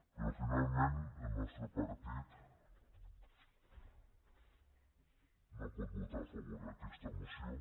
però finalment el nostre partit no pot votar a favor d’aquesta moció